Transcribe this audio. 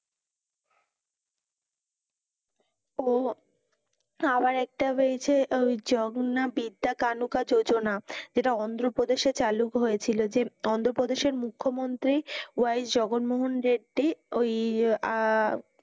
ও আবার একটা বেরিয়েছে জগন্নাথ বিদ্যা কানুকা যোজনা, যেটা অন্ধ্রপ্রদেশে চালু হয়েছিল যে অন্ধ্রপ্রদেশের মুখ্যমন্ত্রী ওয়াই জগনমোহন রেড্ডি ওই আহ